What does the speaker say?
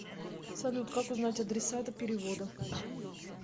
салют как узнать адресата перевода